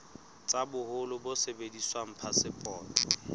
tsa boholo bo sebediswang phasepotong